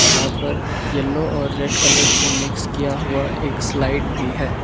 यहां पर येलो और रेड कलर से मिक्स किया हुआ एक स्लाइड भी है।